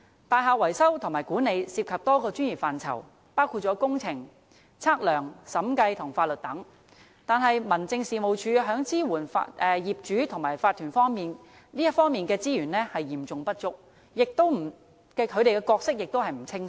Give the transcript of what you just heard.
大廈維修和管理涉及多個專業範疇，包括工程、測量、審計和法律等，但民政事務總署在支援業主和法團方面的資源嚴重不足，其角色亦不清晰。